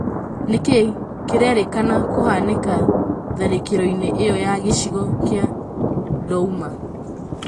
Nĩkĩ kĩrerĩkana kũhanĩka tharĩkĩro-inĩ ĩyo ya gĩcigo kĩa Douma?